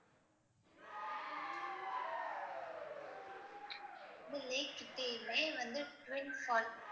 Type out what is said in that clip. lake கிட்டேயுமே வந்து twin falls